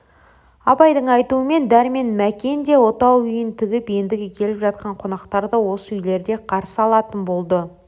абайдың айтуымен дәрмен мәкен де отау үйін тігіп ендігі келіп жатқан қонақтарды осы үйлерде қарсы алатын болды